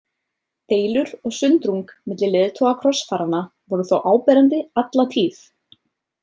Deilur og sundrung milli leiðtoga krossfaranna voru þó áberandi alla tíð.